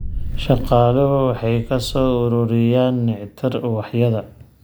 Shaqaaluhu waxay ka soo ururiyaan nectar ubaxyada.